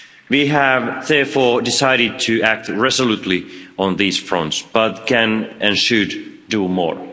We have therefore decided to act resolutely on these fronts, but can and should, do more.